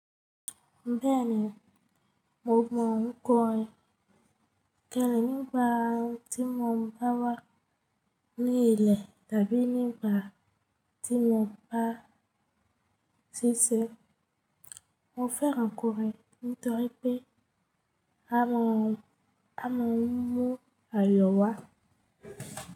Bẹ́ẹ̀ni, mo mọ̀ ọ́n kọ̀ rẹ̀. Kẹ́lì, nígbà tí mo bá wà ní ilẹ̀ tàbí nígbà tí mo bá ṣíṣẹ̀, mo fẹ́ ràn kọrin nítorí pé a ma mú ayọ̀ wá.